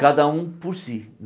Cada um por si.